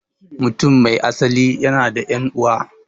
Mutum mai asali yana da 'yan'uwa.